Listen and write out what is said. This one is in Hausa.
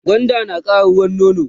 gwanda nakara ruwan nono